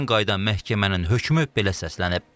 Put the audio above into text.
Müşavirədən qayıdan məhkəmənin hökmü belə səslənib.